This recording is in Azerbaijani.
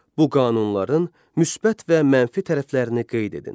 Bu qanunların müsbət və mənfi tərəflərini qeyd edin.